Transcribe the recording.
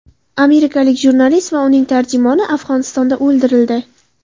Amerikalik jurnalist va uning tarjimoni Afg‘onistonda o‘ldirildi.